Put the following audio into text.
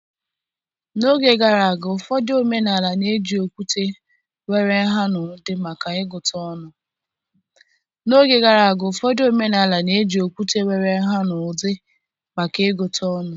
N'oge gara aga, ụfọdụ omenala na-eji okwute nwere nha na ụdị maka ịgụta ọnụ.